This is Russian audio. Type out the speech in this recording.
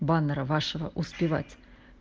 баннера вашего успевать